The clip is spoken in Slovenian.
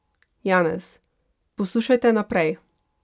Janez: ''Poslušajte, naprej!